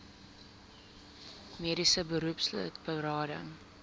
mediese beroepslid berading